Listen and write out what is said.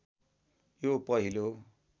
यो पहिलो